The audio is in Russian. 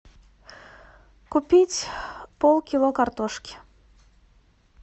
купить пол кило картошки